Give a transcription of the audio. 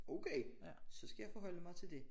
Okay så skal jeg forholde mig til det